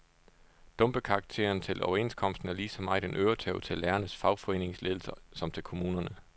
Dumpekarakteren til overenskomsten er lige så meget en øretæve til lærernes fagforeningsledelse som til kommunerne.